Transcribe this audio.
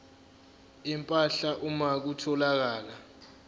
empahla uma kutholakala